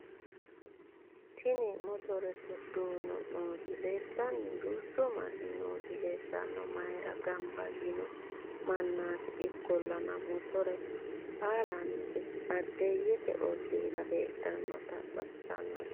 tini motorete duuno nooti leeltanno duuchu manni nooti leeltanno mayra gamba yiino mannati ikoollana motore baalanti baadiyyete ollira heedhannote baxissanno